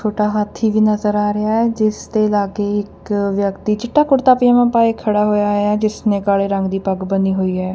ਛੋਟਾ ਹਾਥੀ ਵੀ ਨਜ਼ਰ ਆ ਰਿਹਾ ਹੈ ਜਿਸ ਦੇ ਲਾਗੇ ਵੀ ਇੱਕ ਵਿਅਕਤੀ ਚਿੱਟਾ ਕੁੜਤਾ ਪਜਾਮਾ ਪਾਏ ਖੜਾ ਹੋਇਆ ਐ ਜਿਸ ਨੇ ਕਾਲੇ ਰੰਗ ਦੀ ਪੱਗ ਬੰਨੀ ਹੋਈ ਹੈ।